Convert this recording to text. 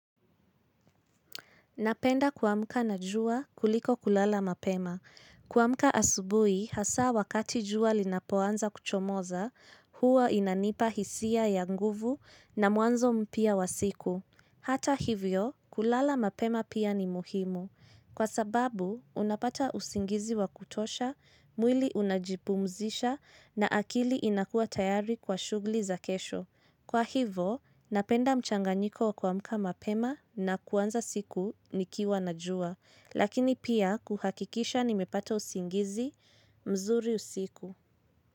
Napenda kuamka na jua kuliko kulala mapema. Kuamka asubuhi, hasa wakati jua linapoanza kuchomoza, huwa inanipa hisia ya nguvu na mwanzo mpya wa siku. Hata hivyo, kulala mapema pia ni muhimu. Kwa sababu, unapata usingizi wa kutosha, mwili unajipumzisha na akili inakua tayari kwa shughuli za kesho. Kwa hivo, napenda mchanganyiko wa kuamka mapema na kuanza siku nikiwa na jua, lakini pia kuhakikisha nimepata usingizi mzuri usiku.